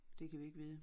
Det kan vi ikke vide